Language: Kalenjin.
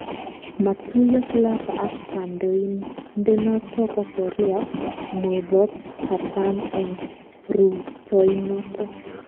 Matuiyo Clapper ak kandoindenoto bo Korea Murotkatam eng rutoitonoto